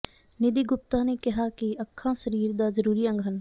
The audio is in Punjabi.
ਨਿਧੀ ਗੁਪਤਾ ਨੇ ਕਿਹਾ ਕਿ ਅੱਖਾਂ ਸਰੀਰ ਦਾ ਜ਼ਰੂਰੀ ਅੰਗ ਹਨ